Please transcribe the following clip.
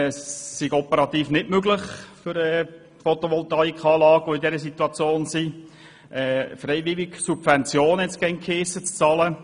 Es sei im Moment nicht möglich, für Photovoltaikanlagen, die von dieser Situation betroffen sind, freiwillige Subventionen zu bezahlen.